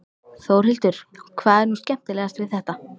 Þórhildur: Hvað er nú skemmtilegast við þetta?